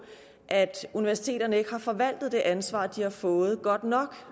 at universiteterne ikke har forvaltet det ansvar de har fået godt nok